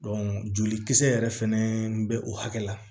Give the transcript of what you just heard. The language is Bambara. jolikisɛ yɛrɛ fɛnɛ bɛ o hakɛ la